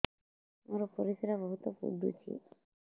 ମୋର ପରିସ୍ରା ବହୁତ ପୁଡୁଚି